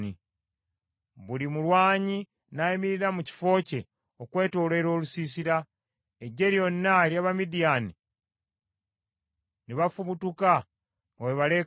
Buli mulwanyi n’ayimirira mu kifo kye okwetooloola olusiisira: eggye lyonna ery’Abamidiyaani ne bafubutuka nga bwe baleekaanira waggulu.